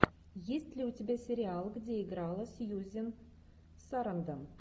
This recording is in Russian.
есть ли у тебя сериал где играла сьюзен сарандон